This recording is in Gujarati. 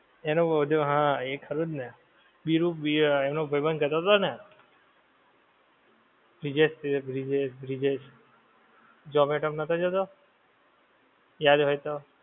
એનો જો હા એ ખરું જ ને બિરુ ભી આ એનો ભાઈબંધ કહેતો તો ને. બ્રિજેશ બ્રિજેશ બ્રિજેશ બ્રિજેશ. ઝોમેટો માં નહોતો જતો. યાદ હોય તો.